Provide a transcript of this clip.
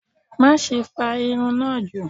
Maṣe fa irun naa ju!